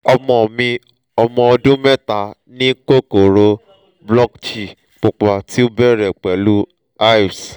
ọmọ mi ọmọ ọdun mẹta ni kokoro blotchy pupa ti o bẹrẹ pẹlu hives